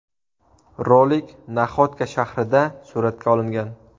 Rolik Naxodka shaharida suratga olingan.